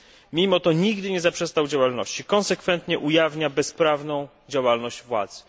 Mimo to nigdy nie zaprzestał działalności i wciąż konsekwentnie ujawnia bezprawną działalność władzy.